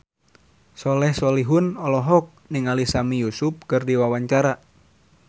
Soleh Solihun olohok ningali Sami Yusuf keur diwawancara